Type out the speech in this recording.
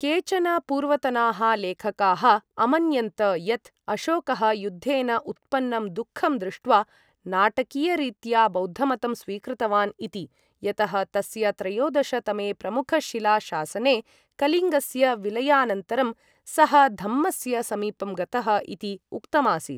केचन पूर्वतनाः लेखकाः अमन्यन्त यत्, अशोकः युद्धेन उत्पन्नं दुःखं दृष्ट्वा नाटकीयरीत्या बौद्धमतं स्वीकृतवान् इति, यतः तस्य त्रयोदश तमे प्रमुख शिला शासने कलिङ्गस्य विलयानन्तरं सः धम्मस्य समीपं गतः इति उक्तम् आसीत्।